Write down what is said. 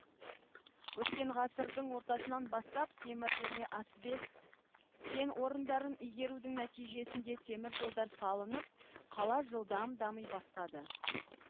өткен ғасырдын ортасынан бастап темір және асбест кен орындарын игерудің нәтижесінде темір жолдар салынып қала жылдам дами бастайды